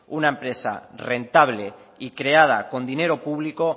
una empresa rentable y creada con dinero público